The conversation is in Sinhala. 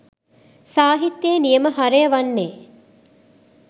සාහිත්‍යයේ නියම හරය වන්නේ